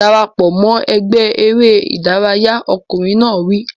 Dara pọ̀ mọ́ ẹgbẹ́ eré ìdárayá! Ọkùnrin náà wí.